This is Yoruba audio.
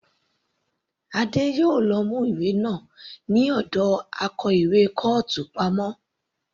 Adé yòó lọ mú ìwé náà ní ọ̀dọ akó ìwé kọ́ọ̀tù pamọ́.